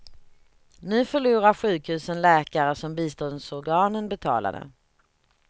Nu förlorar sjukhusen läkare som biståndsorganen betalade.